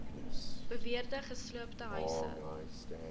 beweerde gesloopte huise